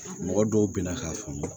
Mɔgɔ dɔw bina k'a faamu